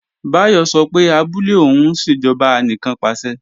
Báyọ̀ sọ pé abúlé òun ń ṣe ìjọba anìkannpàṣẹ